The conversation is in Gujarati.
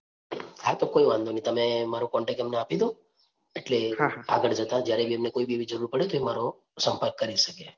હા તો કોઈ વાંધો તમે મારો contact number એમને આપી દો એટલે આગળ જતાં જ્યારે બી એમને એવી કોઈ જરૂર પડે તો એ મારો સંપર્ક કરી શકે.